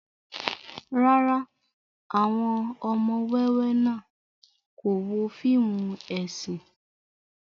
Rárá, awọn ọmọ wẹwẹ náa ko wo fiimu esin